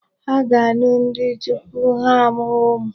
Ha ga-anụ di tupu ha amụwa ụmụ.